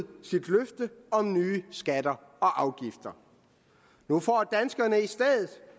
sit løfte om nye skatter og afgifter nu får danskerne i stedet